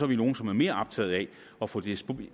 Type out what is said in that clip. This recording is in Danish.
vi nogle som er mere optaget af at få dsb